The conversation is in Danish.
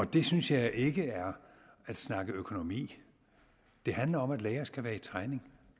det synes jeg ikke er at snakke økonomi det handler om at læger skal være i træning